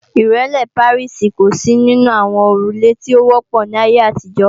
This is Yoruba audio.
Ìrẹ́lé Pàríìsì kò sí nínú àwọn òrùlé tí ó wọ́pọ̀ ní ayé àtijọ́